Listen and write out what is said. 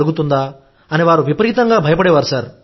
జరుగుతుందా అని వారు విపరీతంగా భయపడే వారు